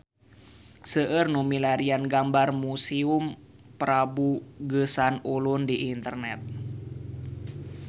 Seueur nu milarian gambar Museum Prabu Geusan Ulun di internet